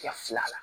I ka fila la